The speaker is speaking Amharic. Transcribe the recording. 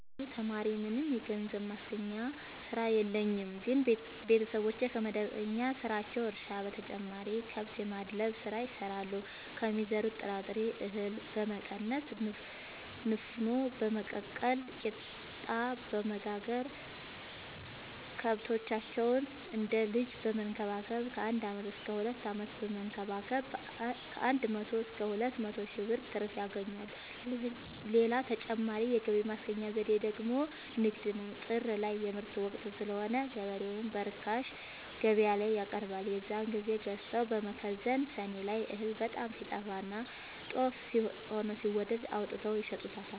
እኔ ተማሪነኝ ምንም የገንዘብ ማስገኛ ስራ የለኝም ግን ቤተሰቦቼ ከመደበኛ ስራቸው እርሻ በተጨማሪ ከብት የማድለብ ስራ ይሰራሉ ከሚዘሩት ጥራጥሬ እሀል በመቀነስ ንፋኖ በመቀቀል ቂጣበወጋገር ከብቶቻቸውን እንደ ልጅ በመከባከብ ከአንድ አመት እስከ ሁለት አመት በመንከባከብ ከአንድ መቶ እስከ ሁለት መቶ ሺ ብር ትርፍ ያገኛሉ። ሌላ ተጨማሪ የገቢ ማስገኛ ዘዴ ደግሞ ንግድ ነው። ጥር ላይ የምርት ወቅት ስለሆነ ገበሬው ምርቱን በርካሽ ገበያላይ ያቀርባል። የዛን ግዜ ገዝተው በመከዘን ሰኔ ላይ እህል በጣም ሲጠፋና ጦፍ ሆኖ ሲወደድ አውጥተው ይሸጡታል።